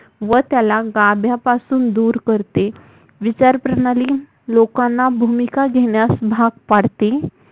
व त्याला गाभ्यापासून दूर करते विचारप्रणाली लोकांना भूमिका घेण्यास भाग पाडते